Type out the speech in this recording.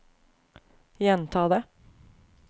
gjenta det